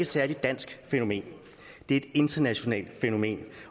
særligt dansk fænomen det er et internationalt fænomen